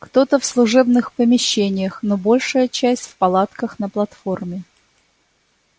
кто-то в служебных помещениях но большая часть в палатках на платформе